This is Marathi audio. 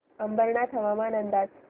अंबरनाथ हवामान अंदाज